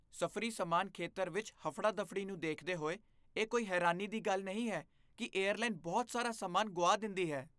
ਸਫ਼ਰੀ ਸਮਾਨ ਖੇਤਰ ਵਿੱਚ ਹਫੜਾ ਦਫੜੀ ਨੂੰ ਦੇਖਦੇ ਹੋਏ, ਇਹ ਕੋਈ ਹੈਰਾਨੀ ਦੀ ਗੱਲ ਨਹੀਂ ਹੈ ਕੀ ਏਅਰਲਾਈਨ ਬਹੁਤ ਸਾਰਾ ਸਮਾਨ ਗੁਆ ਦਿੰਦੀ ਹੈ